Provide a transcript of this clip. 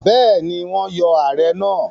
Bẹ́ẹ̀ni, wọ́n yọ Ààrẹ náà.